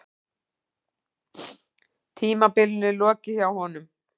Tímabilinu lokið hjá honum